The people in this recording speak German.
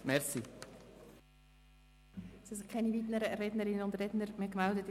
Es haben sich keine weiteren Rednerinnen und Redner gemeldet.